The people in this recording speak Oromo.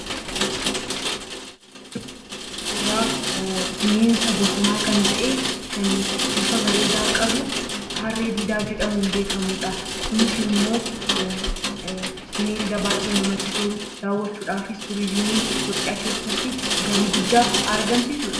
Suuraan arginu suuraa bineensa bosonaa kan ta’e kan bifa bareedaa qabu 'Harree Diidaa' jedhamuun beekamudha. Kunis immoo bineelda baay'ee namatti tolu, daawwachuudhaafis Itoophiyaa keessatti galii tuurizimii guddaa argamsiisudha.